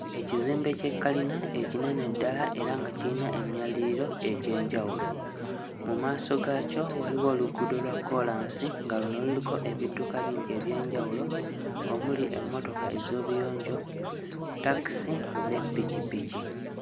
Ekizimbe ky'ekkalina ekinene ddala era nga kiyina emyaliriro egy'enjawulo. Mu maaso gaakyo waliwo oluguudo kkoolaasi nga luno luliko ebidduka bingi eby'enjawulo omuli emmotoka ez'obuyonjo, takisi ne ppikipiki.